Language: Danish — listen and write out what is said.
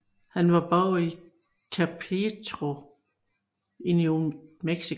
Han var borger i Chaperito i New Mexico